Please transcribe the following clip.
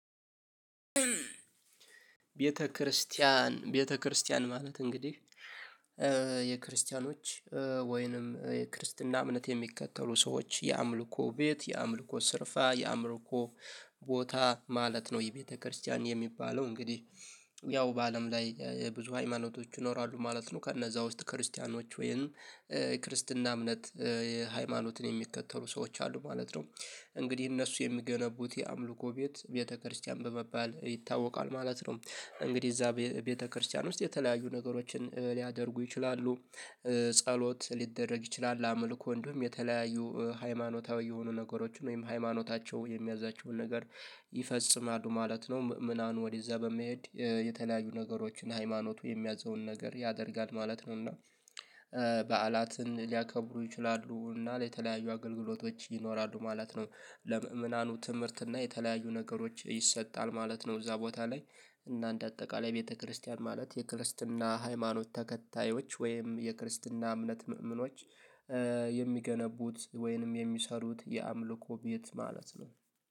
ቤተክርስቲያን ቤተክርስቲያን ማለት እንግዲህ የክርስቲያኖች ወይንም የክርስትና እምነት የሚከተሉ ሰዎች የአምልኮ ቤት የአምልኮ ስርፋ የአምርኮ ቦታ ማለት ነው የቤተክርስቲያን የሚባለው እንግዲህ ያው በአለም ላይ ሃይማኖቶች ይኖራሉ ማለት ነው ከነዛ ውስጥ ክርስቲያኖች ወይም የክርስትና እምነት የሃይማኖትን የሚከተሉ ሰዎች አሉ ማለት ነው እንግዲህ እነሱ የሚገነቡት የአምልኮ ቤት ቤተክርስቲያን በመባል ይታወቃል። ማለት ነው እንግዲህ እዛ ቤተክርስቲያን ውስጥ የተለያዩ ነገሮችን ሊያደርጉ ይችላሉ ጸሎት ሊደረግ ይችላል፤ አምልኮ ወንዱም የተለያዩ ሃይማኖታዊ የሆኑ ነገሮችን ወይም ሃይማኖታቸው የሚያዛቸውን ነገር ይፈጽማሉ ማለት ነው ምዕመናን ወደዛ በመሄድ የተለያዩ ነገሮችን ሃይማኖቱ የሚያዘውን ነገር ያደርጋል ማለት ነውና በዓላትን ሊያከብሩ ይችላሉ እና ለተለያዩ አገልግሎቶች ይኖራሉ ማለት ነው ለምእምናኑ ትምህርት እና የተለያዩ ነገሮች ይሰጣል ማለት ነው። እዛ ቦታ ላይ እና እንደ አጠቃላይ ቤተክርስቲያን ማለት የክርስትና ሃይማኖት ተከታዮች ወይም የክርስትና እምነት ምእምኖች የሚገነቡት ወይንም የሚሰሩት የአምልኮ ቤት ማለት ነው